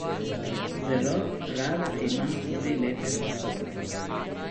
Zelo rada imam tudi lepe pasove.